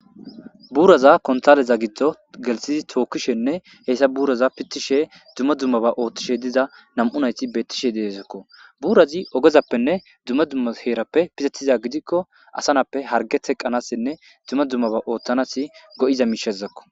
Buuraza konttalle giddon gellisidi tookishenne hessa buuraza piitishe dumma dummabba oththishe diiza nam'u naytti bettishe dessekko buurazi oggezappenne dumma dumma heerappe pixxetida giidiko asa na'appe hargge teqqanasinne dumma dummaba oththanasi goiiza mishshazakko.